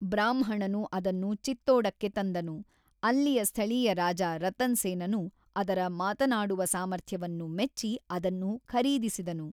ಬ್ರಾಹ್ಮಣನು ಅದನ್ನು ಚಿತ್ತೋಡಕ್ಕೆ ತಂದನು, ಅಲ್ಲಿಯ ಸ್ಥಳೀಯ ರಾಜ ರತನ್ ಸೇನನು ಅದರ ಮಾತನಾಡುವ ಸಾಮರ್ಥ್ಯವನ್ನು ಮೆಚ್ಚಿ ಅದನ್ನು ಖರೀದಿಸಿದನು.